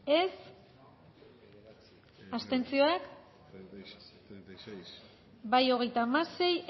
dezakegu bozketaren emaitza onako izan da hirurogeita hamalau